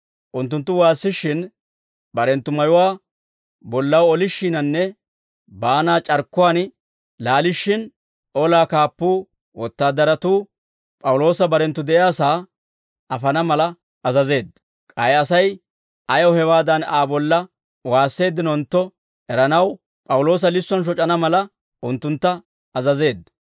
Unttunttu waassishshin, barenttu mayuwaa bollaw olishshiininne baanaa c'arkkuwaan laalishshin, olaa kaappuu wotaadaratuu P'awuloosa barenttu de'iyaasaa afana mala azazeedda. K'ay Asay ayaw hewaadan Aa bolla waasseeddinontto eranaw, P'awuloosa lissuwaan shoc'ana mala, unttuntta azazeedda.